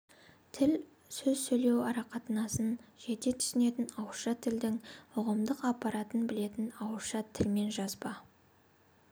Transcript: тіл сөз сөйлеу арақатынасын жете түсінетін ауызша тілдің ұғымдық аппаратын білетін ауызша тіл мен жазба